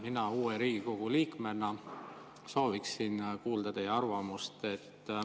Mina uue Riigikogu liikmena sooviksin kuulda teie arvamust.